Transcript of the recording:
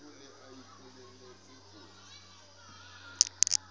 ke re ho ya ka